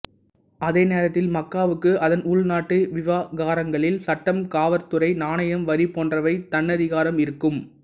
அதே நேரத்தில் மக்காவுக்கு அதன் உள்நாட்டு விவகாரங்களில் சட்டம் காவற்துறை நாணயம் வரி போன்றவை தன்னதிகாரம் இருக்கும்